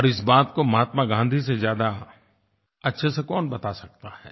और इस बात को महात्मा गाँधी से ज़्यादा अच्छे से कौन बता सकता है